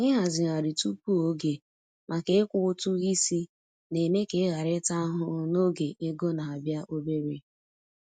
Ịhazigharị tupu oge maka ịkwụ ụtụ isi na-eme ka ị ghara ịta ahụhụ n’oge ego na-abịa obere.